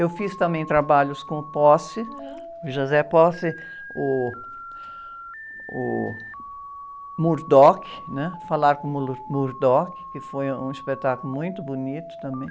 Eu fiz também trabalhos com o, o, o, né? Falar com o, que foi um espetáculo muito bonito também.